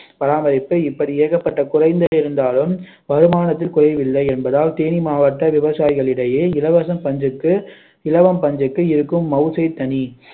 பராமரிப்பு இப்படி ஏகப்பட்ட குறைந்து இருந்தாலும் வருமானத்தில் குறைவில்லை என்பதால் தேனி மாவட்ட விவசாயிகளிடையே இலவசம் பஞ்சுக்கு இலவம் பஞ்சுக்கு இருக்கும் மவுசே தனி